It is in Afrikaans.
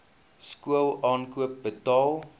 skool aankoop betaal